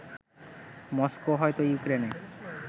Moscow হয়তো ইউক্রেনে